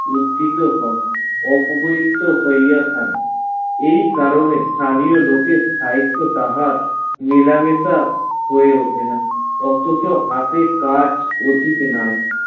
উদ্দতিত হন অপবিত্র হইয়া থাকে এই কারণে স্থানীয় লোকের সাহিত্য তাহার মেলামেশা হয়ে ওঠে না অথচ কাজ অধিক নাই